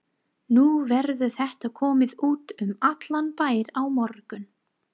Nú verður þetta komið út um allan bæ á morgun.